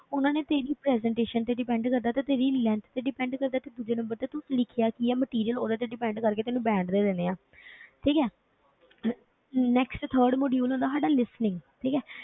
ਉਹਨਾਂ ਨੇ ਤੇਰੀ presentation ਤੇ depend ਕਰਦਾ ਤੇ ਤੇਰੀ length ਤੇ depend ਕਰਦਾ ਕਿ ਦੂਜੇ number ਤੇ ਤੂੰ ਲਿਖਿਆ ਕੀ ਹੈ material ਉਹਦੇ ਤੇ depend ਕਰਕੇ ਤੈਨੂੰ band ਦੇ ਦੇਣੇ ਆਂ ਠੀਕ ਹੈ next third module ਹੁੰਦਾ ਸਾਡਾ listening ਠੀਕ ਹੈ,